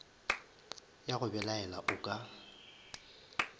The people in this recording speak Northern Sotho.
ya go belaela o ka